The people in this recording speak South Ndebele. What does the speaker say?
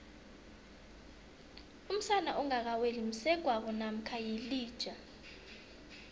umsana ongaka weli msegwabo mamkha yilija